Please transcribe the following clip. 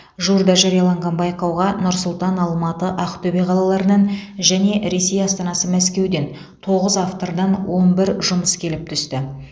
жуырда жарияланған байқауға нұр сұлтан алматы ақтөбе қалаларынан және ресей астанасы мәскеуден тоғыз автордан он бір жұмыс келіп түсті